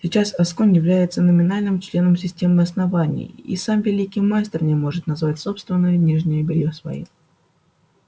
сейчас асконь является номинальным членом системы основания и сам великий мастер не может назвать собственное нижнее бельё своим